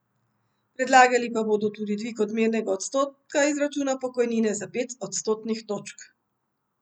Predlagali pa bodo tudi dvig odmernega odstotka izračuna pokojnine za pet odstotnih točk.